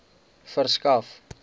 verskaf